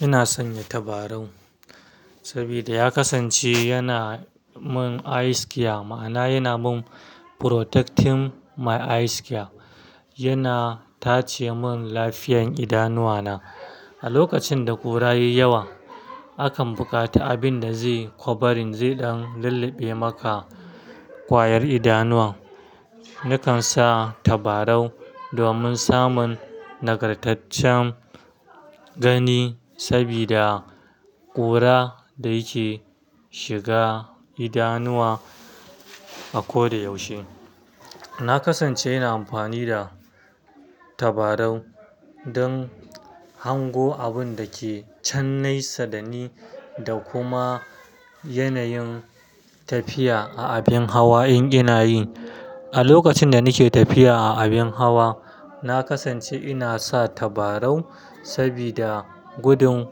Ina sanya tabarau saboda ya kasance yana mun eyes care, ma'ana yana mun protecting my eyes care. Yana tace mun lafiyan idanuwa na. A lokacin da ƙura yayi yawa, akan buƙata abin da zai kwarbarin, zai ɗan lulluɓe maka ƙwayar idanuwan. Nakan sa tabarau domin samun nagartaccen gani saboda ƙura da yake shiga idanuwa a ko da yaushe. Na kasance ina amfani da tabarau don hango abun da ke can naisa da ni da kuma yanayin tafiya a abin hawa in ina yi. A lokacin da nake tafiya a abin hawa, na kasance ina sa tabarau saboda gudun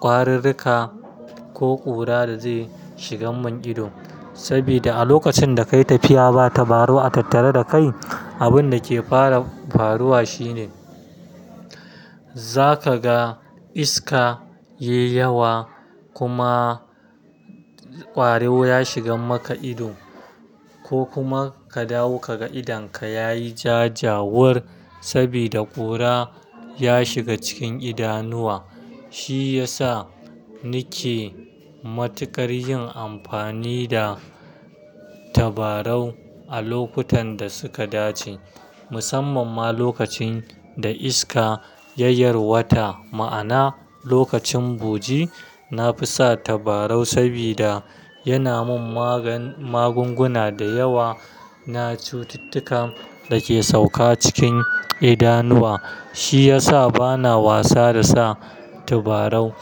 ƙwarirrika ko ƙura da zai shigan mun ido. Saboda a lokacin da kayi tafiya ba tabarau a tattare da kai, abun da ke fara faruwa shine za ka ga iska yayi yawa kuma ƙwaro ya shigan maka ido ko kuma ka dawo kaga idonka yayi ja jawur saboda ƙura ya shiga cikin idanuwa. Shi ya sa nike matukar yin amfani da tabarau a lokutan da suka dace, musamman ma lokacin da iska ya yarwata ma'ana lokacin buji. Na fi sa tabarau saboda yana mun mag magunguna da yawa na cututtuka da ke sauka cikin idanuwa. Shi ya sa bana wasa da sa tabarau.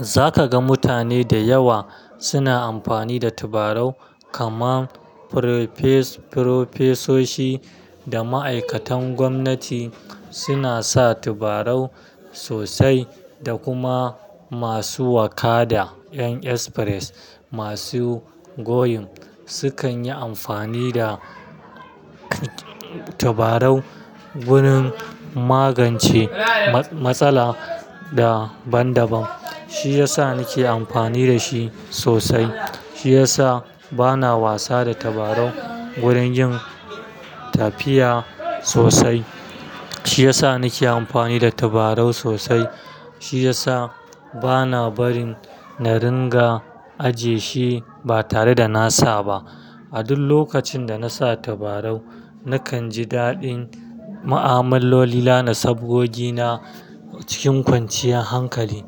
Za ka ga mutane da yawa suna amfani da tabarau, kamar firofeso firofesoshi da ma'aikatan gwamnati suna sa tabarau sosai, da kuma masu waƙa da ƴan express, masu goyim sukan yi amfani da tabarau wurin magance matsala da banbam. Shi ya sa nike amfani da shi sosai. Shi ya sa bana wasa da tabarau wurin yin tafiya sosai. Shi ya sa nike amfani da tabarau sosai. Shi ya sa bana barin na ringa ajiye shi ba tare da nasa ba. A duk lokacin da nasa tabarau nakan ji daɗin ma'amaloli, la'ana sabogina cikin kwanciyar hankali.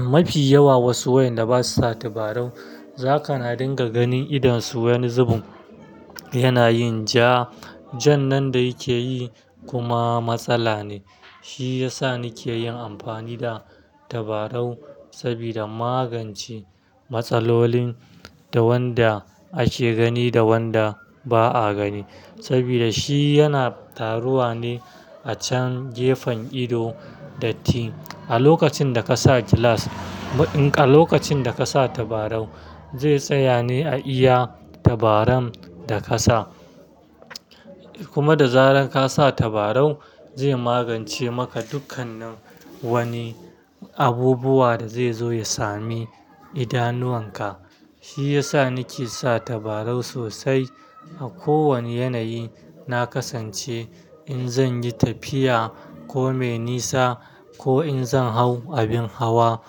Mafi yawa wasu wayanda ba sa sa tabarau, za ka na dinga ganin idonsu wani zubin yana yin ja. Jan nan da yake yi kuma matsala ne. Shi ya sa nike yin amfani da tabarau saboda magance matsalolin da wanda ake gani da wanda ba a gani. Saboda shi yana taruwa ne a can gefen ido da tin. A lokacin da kasa gilas, a lokacin da kasa tabarau zai tsaya ne a iya tabaran da kasa. Kuma da zarar kasa tabarau zai magance maka dukkanin wani abubuwa da zai zo ya sami idanuwan ka. Shi ya sa nike sa tabarau sosai a kowane yanayi. Na kasance in zanyi tafiya ko mai nisa ko in zan hau abin hawa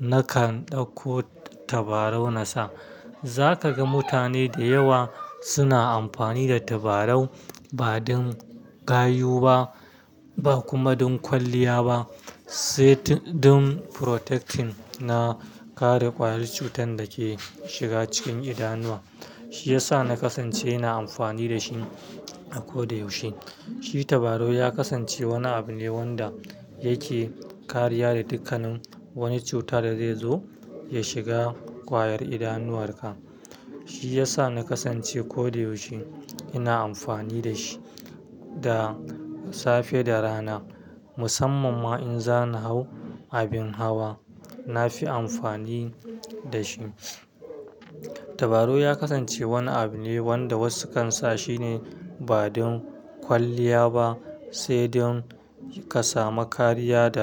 nakan ɗauko tabarau nasa. Za ka ga mutane da yawa suna amfani da tabarau ba don gayu ba, ba kuma don kwalliya ba, sai tun don protecting na kare ƙwayar cutan da ke shiga cikin idanuwa. Shi ya sa na kasance ina amfani da shi a ko da yaushe. Shi tabarau ya kasance wani abu ne wanda yake kariya da dukkanin wani cutar da zai zo ya shiga ƙwayar idanuwar ka. Shi ya sa na kasance ko da yaushe ina amfani da shi, da safe da rana. Musamman ma in zana hau abin hawa na fi amfani da shi. Tabarau ya kasance wani abu ne wanda wasu kan sa shi ne ba don kwalliya ba, sai don ka samu kariya da.